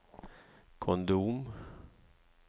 kondom